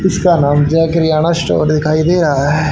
कुछ का नाम जो है किरयाना स्टोर दिखाई दे रहा है।